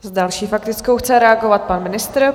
S další faktickou chce reagovat pan ministr.